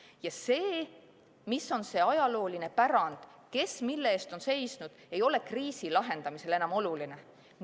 Ja see, mis on see ajalooline pärand, kes mille eest on seisnud, ei ole kriisi lahendamisel enam oluline.